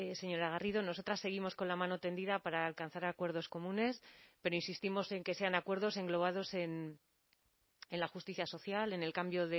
señora garrido nosotras seguimos con la mano tendida para alcanzar acuerdos comunes pero insistimos en que sean acuerdos englobados en la justicia social en el cambio